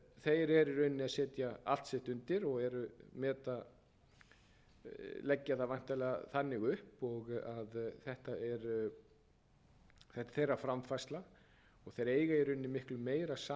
setja allt sitt undir og leggja það væntanlega þannig upp að þetta er þeirra framfærsla og þeir eiga í rauninni miklu meira sameiginlegt með heðfbundnum